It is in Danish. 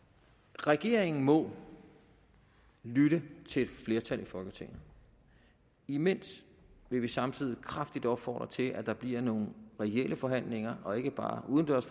regeringen må lytte til et flertal i folketinget imens vil vi samtidig kraftigt opfordre til at der bliver nogle reelle forhandlinger og ikke bare udendørs